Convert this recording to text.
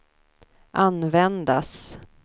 användas